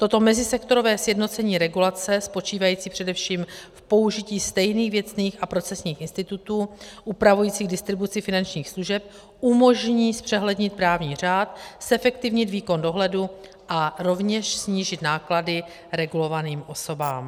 Toto mezisektorové sjednocení regulace spočívající především v použití stejných věcných a procesních institutů upravujících distribuci finančních služeb umožní zpřehlednit právní řád, zefektivnit výkon dohledu a rovněž snížit náklady regulovaným osobám.